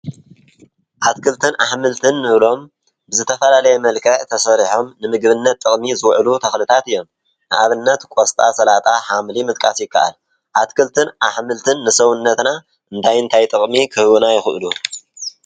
ኣትክልትን ኣሕመልትን እንብሎም ብዝተፈላለዪ መልክዕ ተሰሪሖም ንምግብነት ጥቅሚ ዝዉዕሉ ተክልታት እዮም። ንአብነት ቆስጣ ሰላጣ ሓምሊ ምጥቃስ ይከኣል። አትክልትን አሕምልትን ንሰዉነትና እንታይ እንታይ ጥቅሚ ክህቡና ይኽእሉ።